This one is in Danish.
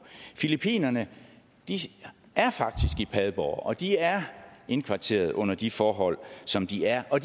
filippinerne er faktisk i padborg og de er indkvarteret under de forhold som de er og